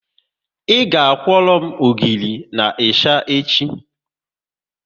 Ị ga kworo m ogiri na ịsha echi